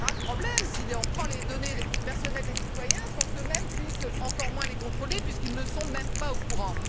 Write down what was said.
C'est un grave problème si on prend les données personnelles des citoyens sans qu'eux mêmes puissent encore moins les contrôler puisqu'ils ne sont même pas au courant.